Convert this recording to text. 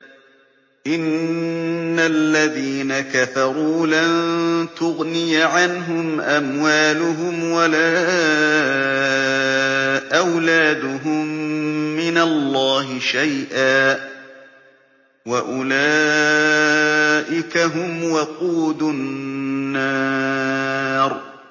إِنَّ الَّذِينَ كَفَرُوا لَن تُغْنِيَ عَنْهُمْ أَمْوَالُهُمْ وَلَا أَوْلَادُهُم مِّنَ اللَّهِ شَيْئًا ۖ وَأُولَٰئِكَ هُمْ وَقُودُ النَّارِ